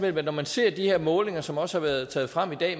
når man ser de her målinger som også har været taget frem i dag